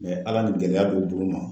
Ala ni gɛlɛya ni gɛlɛya do d'u ma